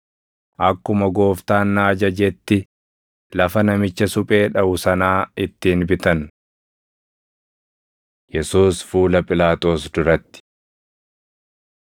akkuma Gooftaan na ajajetti lafa namicha suphee dhaʼu sanaa ittiin bitan.” + 27:10 \+xt Zak 11:12,13; Erm 19:1‑13; 32:6‑9\+xt* Yesuus Fuula Phiilaaxoos Duratti 27:11‑26 kwf – Mar 15:2‑15; Luq 23:2,3,18‑25; Yoh 18:29–19:16